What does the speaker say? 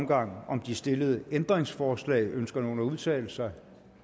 gang om de stillede ændringsforslag ønsker nogen at udtale sig